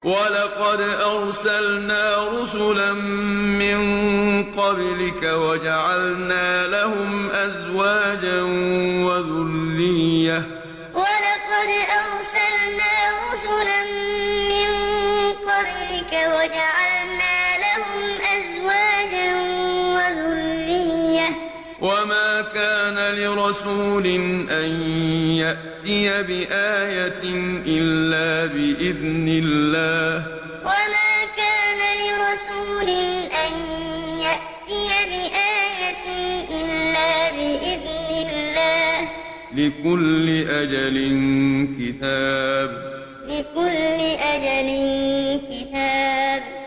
وَلَقَدْ أَرْسَلْنَا رُسُلًا مِّن قَبْلِكَ وَجَعَلْنَا لَهُمْ أَزْوَاجًا وَذُرِّيَّةً ۚ وَمَا كَانَ لِرَسُولٍ أَن يَأْتِيَ بِآيَةٍ إِلَّا بِإِذْنِ اللَّهِ ۗ لِكُلِّ أَجَلٍ كِتَابٌ وَلَقَدْ أَرْسَلْنَا رُسُلًا مِّن قَبْلِكَ وَجَعَلْنَا لَهُمْ أَزْوَاجًا وَذُرِّيَّةً ۚ وَمَا كَانَ لِرَسُولٍ أَن يَأْتِيَ بِآيَةٍ إِلَّا بِإِذْنِ اللَّهِ ۗ لِكُلِّ أَجَلٍ كِتَابٌ